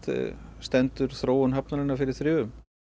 stendur þróun hafnarinnar fyrir þrifum